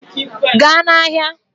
Gaa n'ahịa!